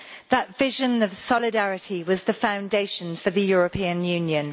That vision of solidarity was the foundation for the European Union.